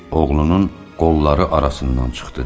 Kişi oğlunun qolları arasından çıxdı.